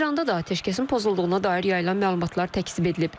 İranda da atəşkəsin pozulduğuna dair yayılan məlumatlar təkzib edilib.